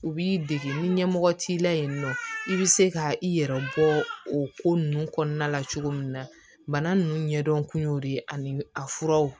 U b'i dege ni ɲɛmɔgɔ t'i la yen nɔ i bɛ se ka i yɛrɛ bɔ o ko ninnu kɔnɔna la cogo min na bana ninnu ɲɛdɔn kun y'o de ye ani a furaw